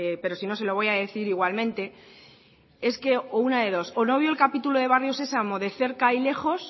pero si no se lo voy a decir igualmente es que o una de dos o no vio el capítulo de barrio sesamo de cerca y lejos